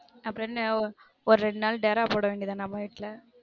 அப்புறம் என்ன ஒரு ரெண்டு நாள் டெரா போட வேண்டியது தான அம்மா வீட்ல